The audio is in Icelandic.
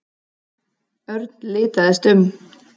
Örn litaðist um.